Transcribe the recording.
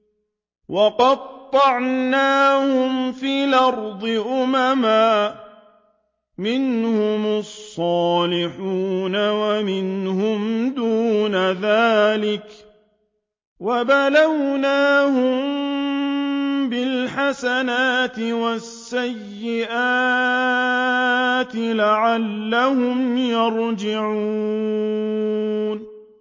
وَقَطَّعْنَاهُمْ فِي الْأَرْضِ أُمَمًا ۖ مِّنْهُمُ الصَّالِحُونَ وَمِنْهُمْ دُونَ ذَٰلِكَ ۖ وَبَلَوْنَاهُم بِالْحَسَنَاتِ وَالسَّيِّئَاتِ لَعَلَّهُمْ يَرْجِعُونَ